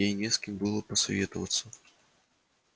ей не с кем было посоветоваться